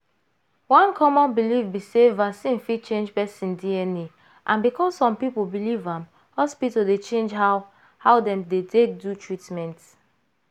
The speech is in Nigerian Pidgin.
one common belief be sey vaccine fit change person dna and because some people believe am hospital dey change how how dem dey take do treatment.